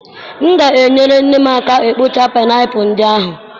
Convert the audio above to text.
M ga na-enyere nne m aka ka ọ kpụchaa painiapulu ndị ahụ.